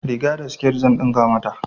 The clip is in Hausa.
Riga da sket zan ɗinka mata.